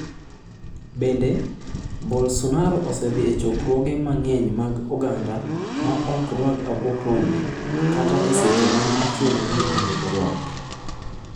Bende, Bolsonaro osedhi e chokruoge mang'eny mag oganda ma ok orwako mask kata e seche mane ochuno ni orwak.